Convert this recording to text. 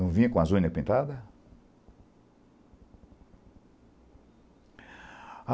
Não vinha com a unha pintada?